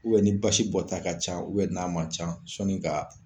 Ubɛ ni basi bɔ ta ka ca u bɛ n'a man ca sɔni ka